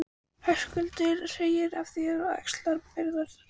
Höskuldur: Segir af þér og axlar ábyrgð þá?